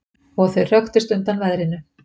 Og þau hröktust undan veðrinu.